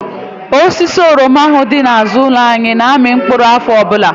Osisi oroma ahụ dị n'àzụ́ụlọ anyị na-amị mkpụrụ n'áfọ ọbụla.